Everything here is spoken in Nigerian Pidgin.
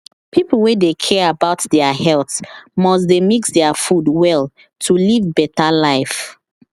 people wey dey care about their health must dey mix their food well to live better life